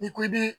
N'i ko i bi